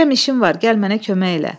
Deyirəm işim var, gəl mənə kömək elə.